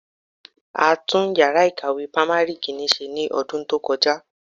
A tún yàrá ìkàwé primary Kínní ṣe ní ọdún tó kọjá.